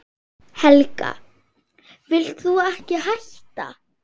Helga: Vilt þú ekki hætta?